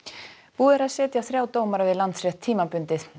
búið er að setja þrjá dómara við Landsrétt tímabundið